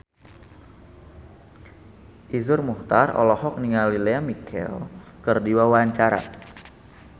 Iszur Muchtar olohok ningali Lea Michele keur diwawancara